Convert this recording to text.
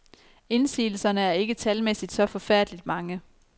Indsigelserne er ikke talmæssigt så forfærdeligt mange.